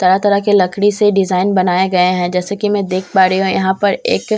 तरह तरह के लकड़ी से डिजाइन बनाए गए हैं जैसे कि मैं देख पा रही हूं यहां पर एक--